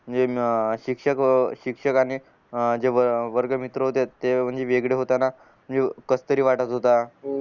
म्हणजे अं शिक्षक शिक्षक आणि जे वर्ग मित्र होते ते म्हणजे वेगळे होताना कस तरी वाटतं होता